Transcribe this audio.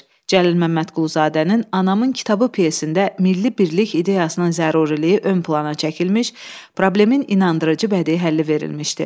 Cəlil Məmmədquluzadənin Anamın kitabı pyesində milli birlik ideyasının zəruriliyi önə çəkilmiş, problemin inandırıcı bədii həlli verilmişdi.